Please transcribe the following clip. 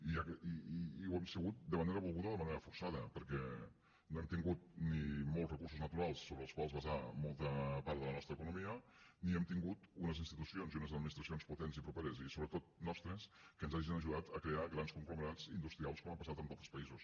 i ho hem sigut de manera volguda o de manera forçada perquè no hem tingut ni molts recursos naturals sobre els quals basar molta part de la nostra economia ni hem tingut unes institucions i unes administracions potents i properes i sobretot nostres que ens hagin ajudat a crear grans conglomerats industrials com ha passat en altres països